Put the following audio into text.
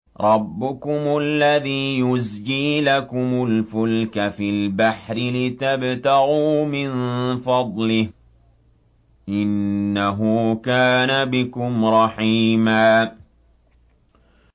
رَّبُّكُمُ الَّذِي يُزْجِي لَكُمُ الْفُلْكَ فِي الْبَحْرِ لِتَبْتَغُوا مِن فَضْلِهِ ۚ إِنَّهُ كَانَ بِكُمْ رَحِيمًا